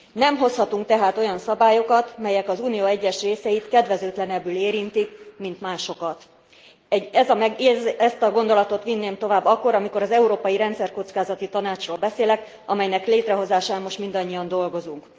Nem hozhatunk tehát olyan szabályokat, melyek az Unió egyes részeit kedvezőtlenebbül érintik, mint másokat. Ezt a gondolatot vinném tovább akkor, amikor az Európai Rendszerkockázati Tanácsról beszélek, amelynek létrehozásán most mindannyian dolgozunk.